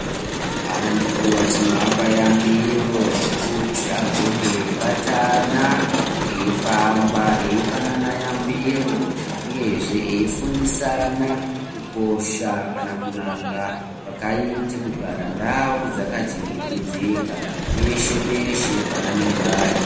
Antu tinoapa yambiro yekuti agone kubatana eifamba eipanana yambiro. Uyezve veifundisana kukosha kana kunaka kwakaita kugara ndau dzakachengetedzeka peshe peshe paanenge ari.